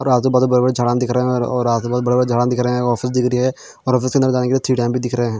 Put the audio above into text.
और आजु-बाजु बड़े-बड़े झाड़ा दिख रहे हैं और आजु-बाजु बड़े-बड़े झाड़ा दिख रहे है ऑफिस दिख रही है और ऑफिस के अंदर जाने के लिए दिख रहे हैं।